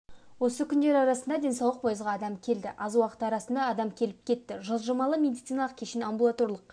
осы күндер арасында денсаулық пойызға адам келді аз уақыт арасында адам келіп-кетті жылжымалы медициналық кешен амбулаторлық